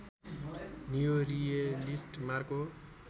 neo realist Marco